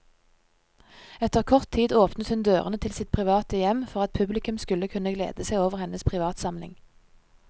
Etter kort tid åpnet hun dørene til sitt private hjem for at publikum skulle kunne glede seg over hennes privatsamling.